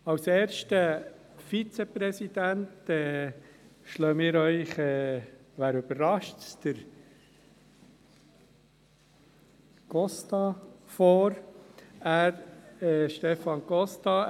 Als erster Vizepräsident schlagen wir Ihnen – wen überrascht’s? – den Costa vor, den Stefan Costa.